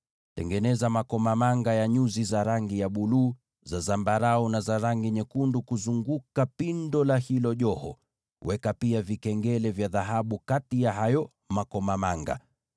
Tengeneza makomamanga ya nyuzi za rangi ya buluu, za zambarau, na za rangi nyekundu kuzunguka pindo la hilo joho, na uweke pia vikengele vya dhahabu kati ya hayo makomamanga.